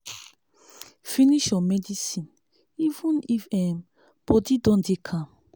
finish your medicine even if um body don dey calm.